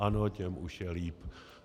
Ano, těm už je líp.